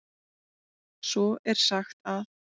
Svo er sagt að.